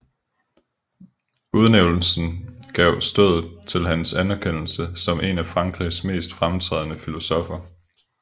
Udnævnelsen gav stødet til hans anerkendelse som en af Frankrigs mest fremtrædende filosoffer